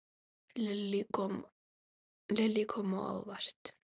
Lillý: Kom á óvart?